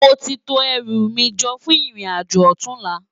Móti tó èrú mi jò fún irin ájó òtúnlá